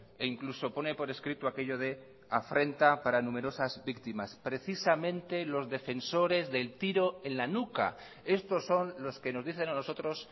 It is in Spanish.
e incluso pone por escrito aquello de afrenta para numerosas víctimas precisamente los defensores del tiro en la nuca estos son los que nos dicen a nosotros